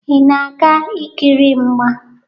Ị na-aga ikiri mgba?